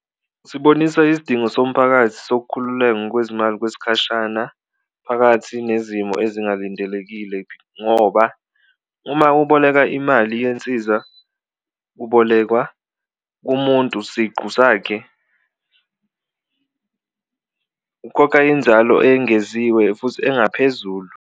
Sibonisa isidingo somphakathi sokukhululeka ngokwezimali kwesikhashana phakathi nezimo ezingalindelekile, ngoba uma uboleka imali yensiza ubolekwa umuntu siqu sakhe ukukhokha inzalo engeziwe futhi engaphezulu.